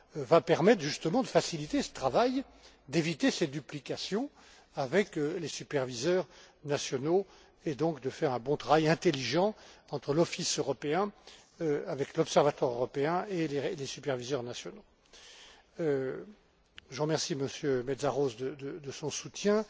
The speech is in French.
va permettre justement de faciliter ce travail, d'éviter cette duplication avec les superviseurs nationaux, et donc de faire un bon travail, intelligent, entre l'office européen avec l'observatoire européen et les superviseurs nationaux. Je remercie M. Mészáros de son soutien.